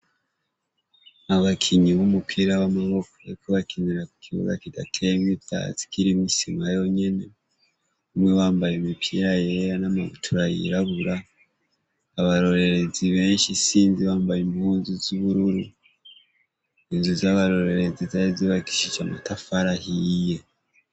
Abakinyi b’umupira w’amaboko bariko barakinira ku kibuga kidateyemwo ivyatsi kirimwo isima yonyene. Bamwe bambaye imipira yera n'amabutura y’irabura. Abarorerezi benshi sinzi bambaye impuzu z’ubururu. Inzu z’abarorerezi zari zubakishije amatafari ahiye.